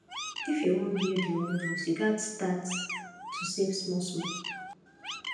if you wan build your own house you gats start to save smallsmal